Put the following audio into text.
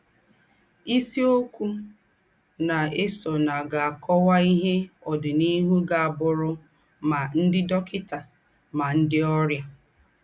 Ísìọ́kù ná-èsọ̀nù gá-ákọ́wà íhe ọ́dìnìhù gá-ábụ̀rù mà ńdị́ dọ́kịtà mà ńdị́ ọ́rịà.